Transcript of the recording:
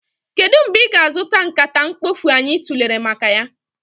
Kedu mgbe ị ga-azụta nkata mkpofu anyị tụlere maka ya?